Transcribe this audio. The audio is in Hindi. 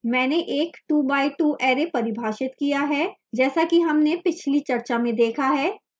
मैंने एक 2 by 2 array परिभाषित किया है जैसा कि हमने पिछली चर्चा में देखा है